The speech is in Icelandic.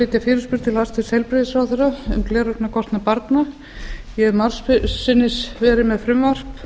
flytja fyrirspurn til hæstvirts heilbrigðisráðherra um gleraugnakostnað barna ég hef margsinnis verið með frumvarp